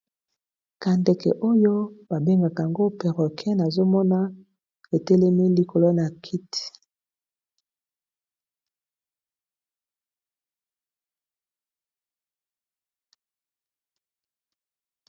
Ndeke oyo ba bengaka , yango perroquet, avandi na kiti na salon.